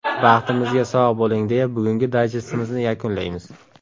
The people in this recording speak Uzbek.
Baxtimizga sog‘ bo‘ling, deya bugungi dayjestimizni yakunlaymiz.